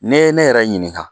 N'i ye ne yɛrɛ ɲininka